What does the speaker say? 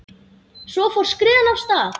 Svo fór skriðan af stað.